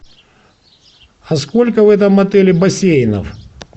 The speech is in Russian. а сколько в этом отеле бассейнов